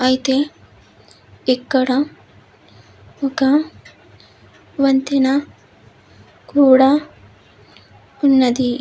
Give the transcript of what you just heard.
అయితే ఇక్కడ ఒక వంతెన కూడా ఉన్నది.